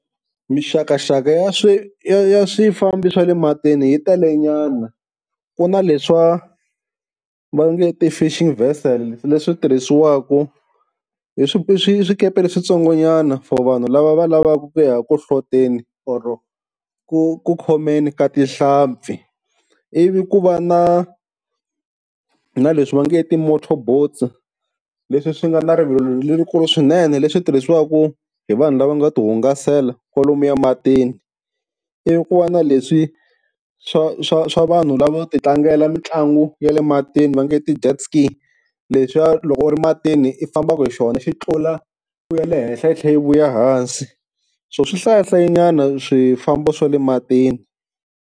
Mixakaxaka ya swi ya ya swifambo swa le matini hi telenyana, ku na leswiwa va nge ti-Fish Vessels leswi tirhisiwaku, i swi swi swikepe leswitsongonyana for vanhu lava va lavaka ku ya ku hloteni or ku ku khomeni ka tihlampfi. Ivi ku va na na leswi va nge ti-Motor boats leswi swi nga na rivilo lerikulu swinene, leswi tirhisiwaka hi vanhu lava ngo tihungasela kwalomuya matini. Ivi ku va na leswi swa swa swa vanhu lavo ti tlangela mitlangu ya le matini va nge ti-dead skate leswiwa loko u ri matini i fambaka hi xona xi tlula u ya le henhla u tlhe i vuya ehansi. So swi hlayahlayinyana swifambo swa le matini.